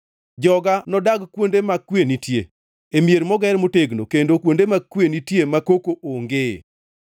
Joga nodag kuonde ma kwe nitie, e mier moger motegno, kendo kuonde ma kwe nitie ma koko ongee.